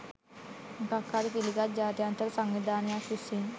මොකක් හරි පිළිගත් ජාත්‍යන්තර සංවිධානයක් විසින්